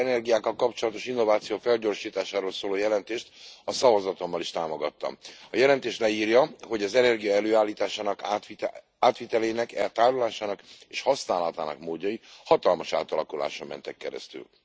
A tiszta energiákkal kapcsolatos innováció felgyorsításáról szóló jelentést a szavazatommal is támogattam. A jelentés leírja, hogy az energia előállításának, átvitelének, tárolásának és használatának módjai hatalmas átalakuláson mentek keresztül.